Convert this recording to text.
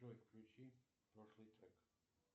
джой включи прошлый трек